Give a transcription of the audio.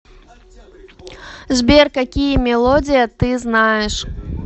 сбер какие мелодия ты знаешь